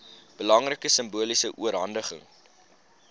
belangrike simboliese oorhandiging